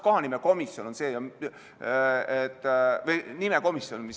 Kohanimekomisjon või nimekomisjon ...